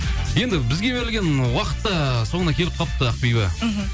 енді бізге берілген уақыт та соңына келіп қалыпты ақбибі мхм